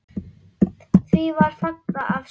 Því var fagnað af sumum.